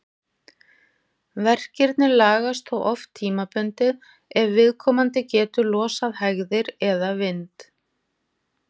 Verkirnir lagast þó oft tímabundið ef viðkomandi getur losað hægðir eða vind.